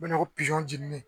U bɛna o jenini